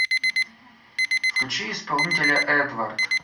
включи исполнителя эдвард